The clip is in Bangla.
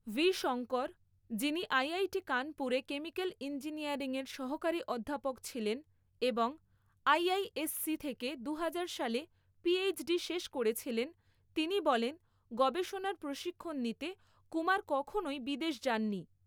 ভি. শঙ্কর, যিনি আইআইটি কানপুরে কেমিক্যাল ইঞ্জিনিয়ারিংয়ের সহকারী অধ্যাপক ছিলেন এবং আইআইএসসি থেকে দুহাজার সালে পিএইচডি শেষ করেছিলেন, তিনি বলেন, গবেষণার প্রশিক্ষণ নিতে কুমার কখনই বিদেশ যাননি।